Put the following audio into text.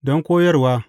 Don koyarwa.